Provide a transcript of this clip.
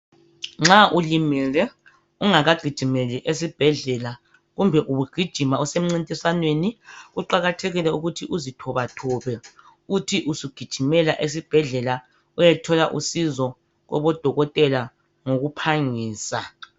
Nxa ulimele ungakagijimeli esibhedlela, kumbe ubugijima usemncintiswaneni, kuqakathekile ukuthi uzithobathobe uthi usugijimela esibhedlela uyethola usizo kobodokotela ngokuphangisa.